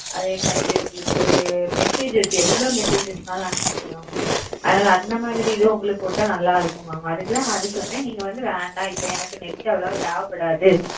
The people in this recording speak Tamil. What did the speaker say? அதே மாறி உங்களுக்கு எவ்ளோ SMS வேணாலும் அனுபிக்கலாம் அந்தமாரி இது உங்களுக்கு போடா நல்ல mam இருக்கும் அத ந உங்களுக்கு சொன்னவேண்ட என்னக்கு net தேவைப்படாது